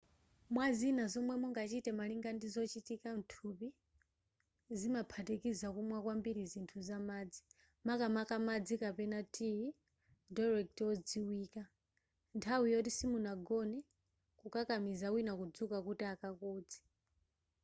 mwazina zomwe mungachite malingana ndi zochitika muthupi zimaphatikiza kumwa kwambiri zithu za madzi makamaka madzi kapena tiyi diuretic wodziwika nthawi yoti simunagone kukakamiza wina kudzuka kuti akakodze